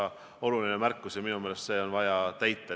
See on oluline märkus ja minu meelest on see ettepanek vaja täita.